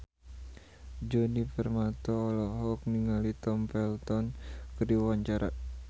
Djoni Permato olohok ningali Tom Felton keur diwawancara